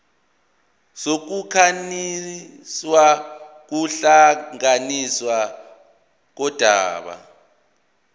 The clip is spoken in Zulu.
sokukhanselwa kokuhlakazwa kodaba